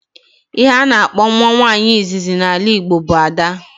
Ihe a na-akpọ nwa nwaanyị izizi na ala Igbo bụ 'ada'